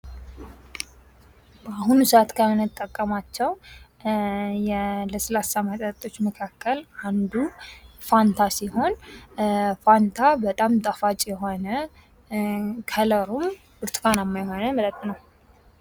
በአሁኑ ሰአት ከምንጠቀማቸው የለስላሳ መጠጦች መካከል አንዱ ፋንታ ሲሆን ፋንታ በጣም ጣፋጭ የሆነ ከለሩም ብርቱካናማ የሆነ መጠጥ ነው።